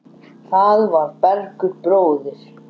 Það var Bergur bróðir.